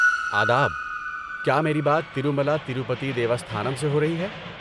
آداب! کیا میری بات ترومالا تروپتی دیوستھانم سے ہو رہی ہے؟